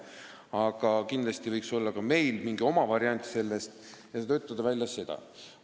Aga kindlasti võiks olla ka meil mingi oma variant, mille võiks välja töötada.